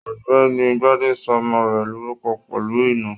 Ọ̀gbẹ́ni Gbade sọ ọmọ rẹ lórúkọ pẹlú ina